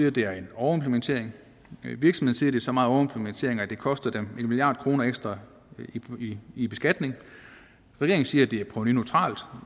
at det er en overimplementering virksomhederne så meget overimplementering at det koster dem en milliard kroner ekstra i beskatning regeringen siger at det er provenuneutralt